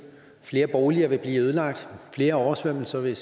flere boliger vil blive ødelagt flere oversvømmelser vil